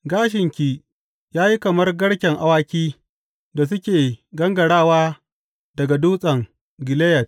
Gashinki ya yi kamar garken awaki da suke gangarawa daga Dutsen Gileyad.